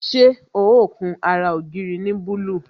Ṣé ó kun ara ògiri ní búlúù?